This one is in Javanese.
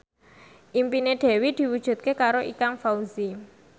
impine Dewi diwujudke karo Ikang Fawzi